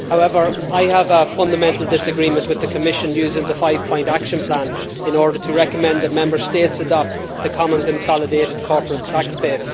However, I have a fundamental disagreement with the Commission using the five point action plan in order to recommend that Member States adopt the Common Consolidated Corporate Tax Base.